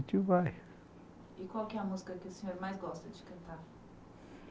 Vai. E qual que é a música que o senhor mais gosta de cantar?